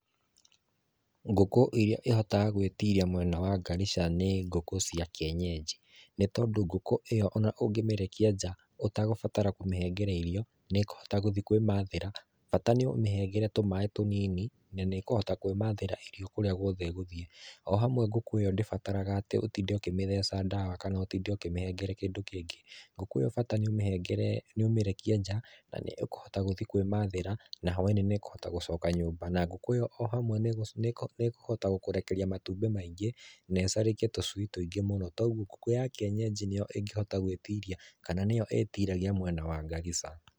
Ngūkū īrīa īhotaga gwītīrīa mwena wa Garissa, nī ngūkū cīa kienyejī. Nī tondū ngūkū īyo ona onge mīrekīa njaa, ūtagūbatara kūmīhīngere īrīo nīkūhota ngūthīe kūīmathīra bata nī ūmīhīngere tūmaai tūnīnī, na nīkūhota kūīmathīra īrīo kūrīa ngūothe īgothīe. Ohamwe ngūkū īyo ndībataraga atī ūtīnde ūkīmītheca dawa kana ūtīnde ūkīmehegere kīndū kīngī ngūkū īyo bata nī ūmīhegere, ūmīrekīe njaa na nīkūhota gūthīe kūīmathīra na hūwaīnī nī kūhota ngūcoka nyūmba. Na ngūkū īyo ohamwe nī kūhota ngūkūrekīa matūbī maīngī na īcarekeī tucuī tuīngīe mūno kūogwo ngūkū ya kienyejī nī īyo īgīhota gwītīrīa kana nī īyo ītīragīa mwena wa Garissa.